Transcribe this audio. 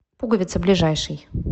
пуговица ближайший